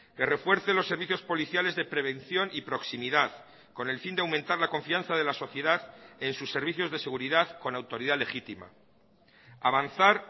que refuerce los servicios policiales de prevención y proximidad con el fin de aumentar la confianza de la sociedad en sus servicios de seguridad con autoridad legítima avanzar